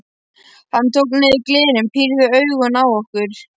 Hann tók niður glerin, pírði augun á okkur.